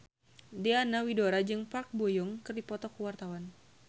Diana Widoera jeung Park Bo Yung keur dipoto ku wartawan